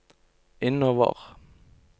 innover